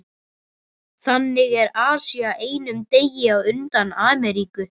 Þannig er Asía einum degi á undan Ameríku.